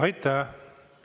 Aitäh!